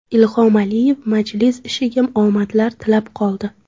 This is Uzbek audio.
Ilhom Aliyev majlis ishiga omadlar tilab qoldi.